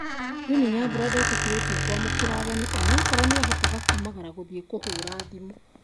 winnie nyambura ndetĩkĩrĩtio kwamũkĩra ageni onakorwo niahotoga kumagara gũthiĩ kũhũra thimũ